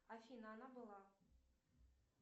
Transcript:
афина она была